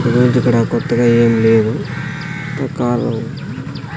ఇంతకుమించి ఇక్కడ కొత్తగా ఏం లేదు ఒక కారు .